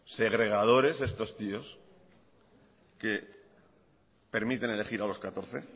segregadores estos tíos que permiten elegir a los catorce